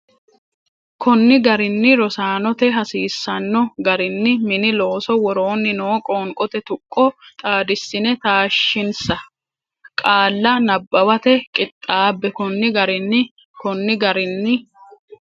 konni garinni Rosaanote hasiisanno garinni mini looso woroonni noo qoonqote tuqqo xaadissine taashshinsa qaalla nabbawate qixxaabbe konni garinni konni garinni.